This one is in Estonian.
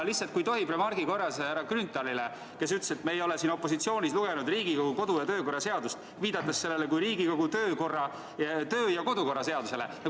Lihtsalt, kui tohib, ütlen remargi korras härra Grünthalile, kes ütles, et me ei ole opositsioonis olles lugenud Riigikogu kodu‑ ja töökorra seadust, viidates sellele kui Riigikogu töö‑ ja kodukorra seadusele.